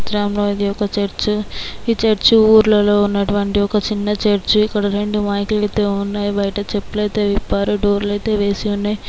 చిత్రంలో ఇది ఒక చర్చ్ ఈ చర్చ్ ఊర్లలో ఉన్న ఉన్నటువంటి ఒక చిన్న చర్చ్ . ఇక్కడ రెండు మైకు లు అయితే ఉన్నాయి. బయట చెప్పులు అయితే విప్పారు. డోర్లు అయితే వేసి ఉన్నాయి.